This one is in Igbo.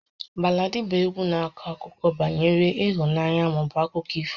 Baladị bụ égwu na-akọ akụkọ banyere ịhụnanya maọbụ akụkọ ifo